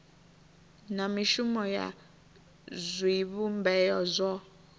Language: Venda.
na mishumo ya zwivhumbeo zwo